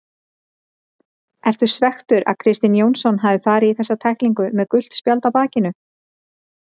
Ertu svekktur að Kristinn Jónsson hafi farið í þessa tæklingu með gult spjald á bakinu?